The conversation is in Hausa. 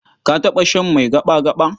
Ka taɓa shan mai gaɓa-gaɓa?